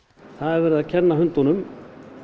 það er verið að kenna hundunum